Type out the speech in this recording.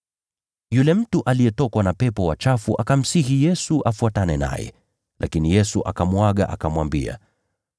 Yule mtu aliyetokwa na pepo wachafu akamsihi Yesu afuatane naye, lakini Yesu akamuaga, akamwambia: